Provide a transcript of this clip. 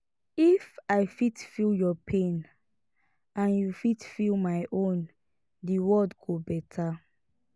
if i fit feel yur pain and yu fit feel my own de world go beta